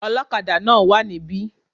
Olókadà náà wá níbí